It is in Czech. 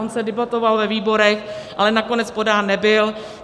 On se debatoval ve výborech, ale nakonec podán nebyl.